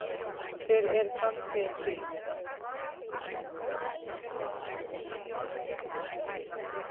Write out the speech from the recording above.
Hver er framtíð mín?